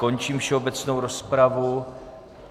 Končím všeobecnou rozpravu.